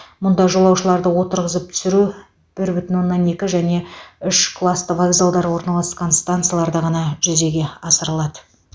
мұнда жолаушыларды отырғызып түсіру бір бүтін оннан екі және үш класты вокзалдар орналасқан станицияларда ғана жүзеге асырылады